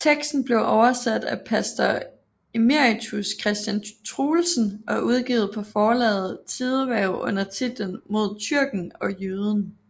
Teksten blev oversat af pastor emeritus Christian Truelsen og udgivet på forlaget Tidehverv under titlen Mod tyrken og jøden